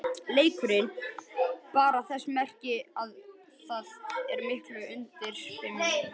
Leikurinn bar þess merki að það er mikið undir og mikið í húfi.